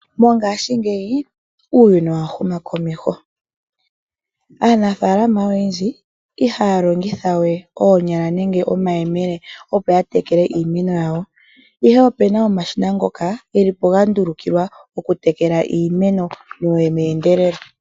Mongashingeyi uuyuni owahuma komeho . Aanafaalama oyendji ihaya longithawe oonyala nenge omayemele opo ya tekele iimeno yawo , ihe opuna omashina ngoka gelipo gandulukilwa oku tekela iimeno nomeendelelo.